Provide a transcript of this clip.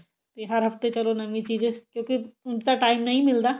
ਤੇ ਹਰ ਹਫਤੇ ਚਲੋ ਨਵੀਂ ਚੀਜ਼ ਕਿਉਂਕਿ ਉੰਝ ਤਾਂ time ਨਹੀਂ ਮਿਲਦਾ